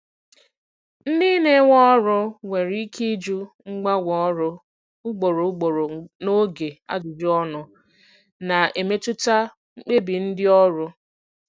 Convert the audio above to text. Ndị na-ewe ọrụ nwere ike ịjụ mgbanwe ọrụ ugboro ugboro n'oge ajụjụ ọnụ, na-emetụta mkpebi ndị ọrụ.